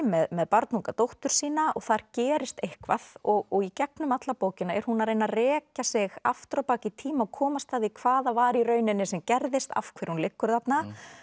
með barnunga dóttur sína og þar gerist eitthvað og í gegnum alla bókina er hún að reyna að rekja sig aftur á bak í tíma og komast að því hvað það var í rauninni sem gerðist af hverju hún liggur þarna